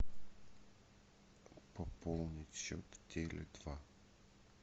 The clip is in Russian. пополнить счет теле два